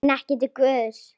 En ekki til Guðs.